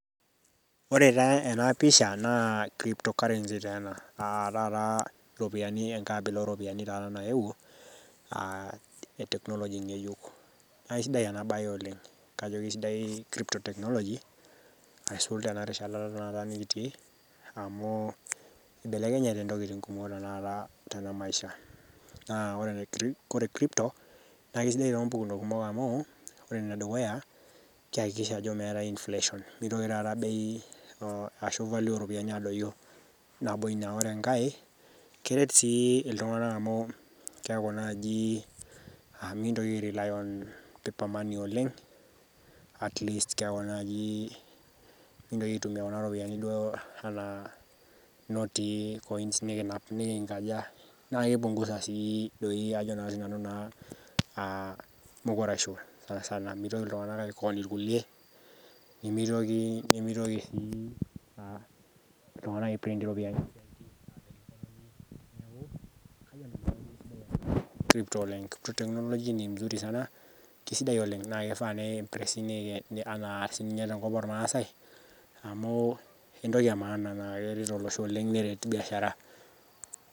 Ore taa ena pisha naa crypto currency taa ena ropiyiani enkae abila ooropiyiani taata nayewuo.e technology ngejuk, naa kisidai ena bae oleng. kajo kisidai crypto technology neisul tena rishata tenakata nikitii. amu ibelekenyate ntokitin kumok tenakata tena maisha. naa ore crypto naa kisidai too mpukunot kumok amu ore ene dukuya kiyakikisha ajo meeta inflation neitoki taata bei ashu value oo ropiyiani aadoyio. nabo Ina ore enkae keret sii iltunganak amu keeku naaji mikintoki ai rely on paper money oleng. at least keeku naaji kintoki aitumia Kuna ropiyiani duo anaa inotii coins nikinap. nikinkaja. naaki punguza sii ajo naa sii nanu naa mukuraisho. mitoki iltunganak ai con irkulie. nemiitoki iltunganak ai print iropiyiani. technology ni mzuri sana kisidai oleng naa kifaa nei press sii ninye tenakop oolmaasae. amu, tenintoki Amana naa keret olosho oleng neret biashara.